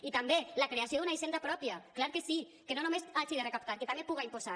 i també la creació d’una hisenda pròpia clar que sí que no només hagi de recaptar que també puga imposar